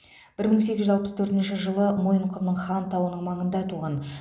бір мың сегіз жүз алпыс төртінші жылы мойынқұмның хан тауының маңында туған